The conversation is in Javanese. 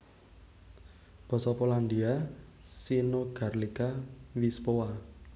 Basa Polandia synogarlica wyspowa